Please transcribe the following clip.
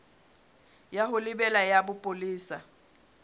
ya ho lebela ya bopolesa